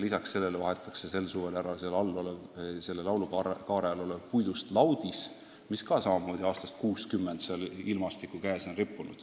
Sel suvel vahetatakse ära laulukaare all olev puidust laudis, mis on samamoodi aastast 1960 seal ilmastiku meelevallas olnud.